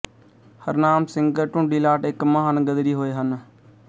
ਹਰਨਾਮ ਸਿੰਘ ਟੁੰਡੀਲਾਟ ਇੱਕ ਮਹਾਨ ਗ਼ਦਰੀ ਹੋਏ ਹਨ